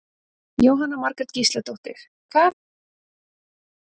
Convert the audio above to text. Jóhanna Margrét Gísladóttir: Hvað finnst þér best?